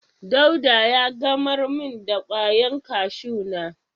Dauda ya gamar min da kwayan kashu na.